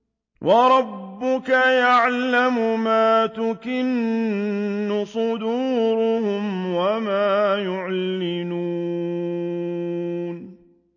وَرَبُّكَ يَعْلَمُ مَا تُكِنُّ صُدُورُهُمْ وَمَا يُعْلِنُونَ